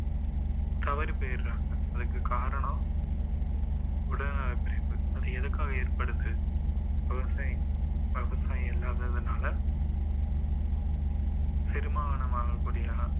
தவறி போயிடறாங்க அதுக்கு காரணம் உடல் நலக்குறைவு அது எதற்காக ஏற்படுது விவசாயம் விவசாயம் இல்லாததுனால செரிமானமாக கூடியன